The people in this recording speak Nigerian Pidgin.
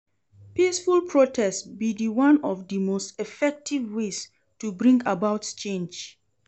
Peaceful protest be di one of di most effective ways to bring about change.